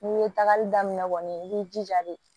N'i ye tagali daminɛ kɔni i b'i jija de